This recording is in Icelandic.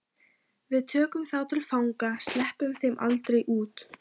Við tökum þá til fanga. sleppum þeim aldrei út.